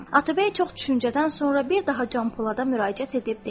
Atabəy çox düşüncədən sonra bir daha Can Polada müraciət edib dedi.